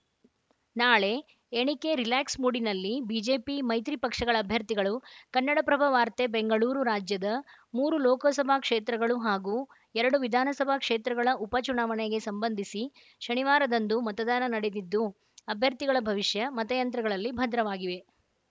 ನಾಳೆ ಎಣಿಕೆ ರಿಲ್ಯಾಕ್ಸ್‌ ಮೂಡಿನಲ್ಲಿ ಬಿಜೆಪಿ ಮೈತ್ರಿ ಪಕ್ಷಗಳ ಅಭ್ಯರ್ಥಿಗಳು ಕನ್ನಡಪ್ರಭ ವಾರ್ತೆ ಬೆಂಗಳೂರು ರಾಜ್ಯದ ಮೂರು ಲೋಕಸಭಾ ಕ್ಷೇತ್ರಗಳು ಹಾಗೂ ಎರಡು ವಿಧಾನಸಭಾ ಕ್ಷೇತ್ರಗಳ ಉಪಚುನಾವಣೆಗೆ ಸಂಬಂಧಿಸಿ ಶನಿವಾರದಂದು ಮತದಾನ ನಡೆದಿದ್ದು ಅಭ್ಯರ್ಥಿಗಳ ಭವಿಷ್ಯ ಮತಯಂತ್ರಗಳಲ್ಲಿ ಭದ್ರವಾಗಿವೆ